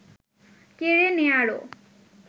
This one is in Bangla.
কেড়ে নেয়ারও